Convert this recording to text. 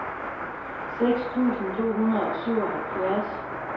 seks tusind to hundrede og syvoghalvfjerds